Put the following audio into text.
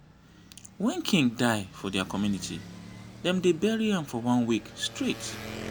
when king die for dia community dem dey bury am for one week straight